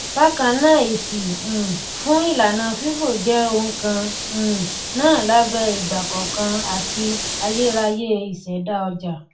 bákan náàèsì um fún ìlànà fifo jẹ ohun kan um náà lábẹ ìgbàkọọkan àti ayérayé ìṣẹdá ọjà